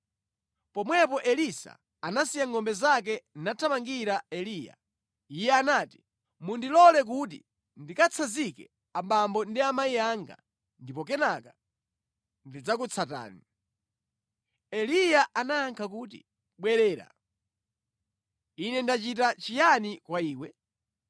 Pomwepo Elisa anasiya ngʼombe zake nathamangira Eliya. Iye anati, “Mundilole kuti ndikatsanzike abambo ndi amayi anga, ndipo kenaka ndidzakutsatani.” Eliya anayankha kuti, “Bwerera. Ine ndachita chiyani kwa iwe?”